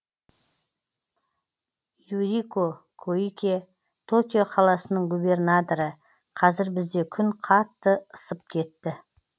юрико коикэ токио қаласының губернаторы қазір бізде күн қатты ысып кетті